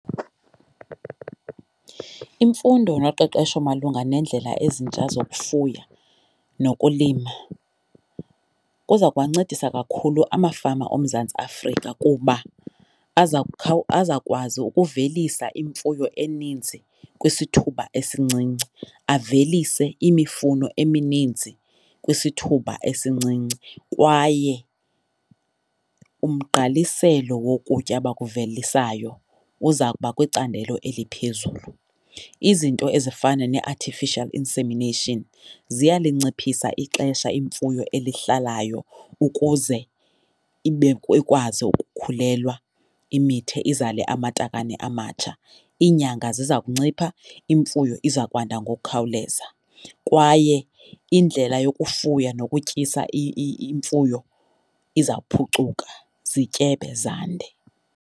Imfundo noqeqesho malunga neendlela ezintsha zokufuya nokulima kuza kuwancedisa kakhulu amafama oMzantsi Afrika kuba azawukwazi ukuvelisa imfuyo eninzi kwisithuba esincinci, avelise imifuno emininzi kwisithuba esincinci, kwaye umgqaliselo wokutya abakuvelisayo uza kuba kwicandelo eliphezulu. Izinto ezifana nee-artificial insemination ziyalinciphisa ixesha imfuyo elihlalayo ukuze ikwazi ukukhulelwa imithe izale amatakane amatsha, iinyanga ziza kuncipha imfuyo iza kwanda ngokukhawuleza. Kwaye indlela yokufuya nokutyisa imfuyo iza kuphucuka, zityebe, zande.